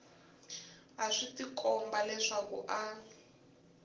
a swi tikomba leswaku a